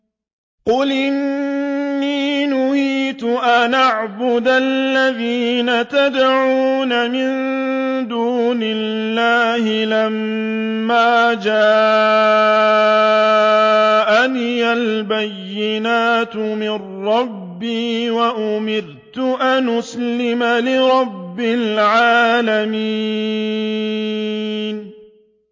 ۞ قُلْ إِنِّي نُهِيتُ أَنْ أَعْبُدَ الَّذِينَ تَدْعُونَ مِن دُونِ اللَّهِ لَمَّا جَاءَنِيَ الْبَيِّنَاتُ مِن رَّبِّي وَأُمِرْتُ أَنْ أُسْلِمَ لِرَبِّ الْعَالَمِينَ